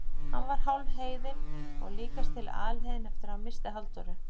Hann var hálfheiðinn og líkast til alheiðinn eftir að hann missti Halldóru.